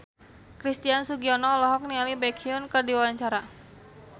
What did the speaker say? Christian Sugiono olohok ningali Baekhyun keur diwawancara